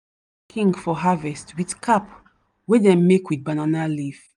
king for harvest with cap wey dem make with banana leaf.